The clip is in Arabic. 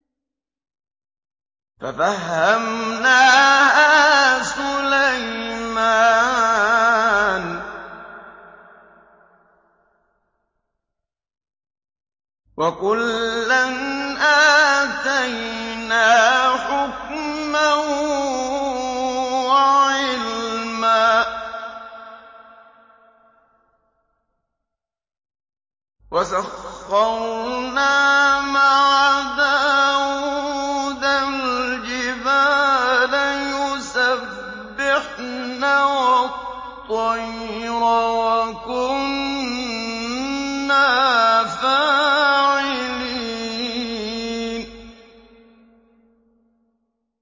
فَفَهَّمْنَاهَا سُلَيْمَانَ ۚ وَكُلًّا آتَيْنَا حُكْمًا وَعِلْمًا ۚ وَسَخَّرْنَا مَعَ دَاوُودَ الْجِبَالَ يُسَبِّحْنَ وَالطَّيْرَ ۚ وَكُنَّا فَاعِلِينَ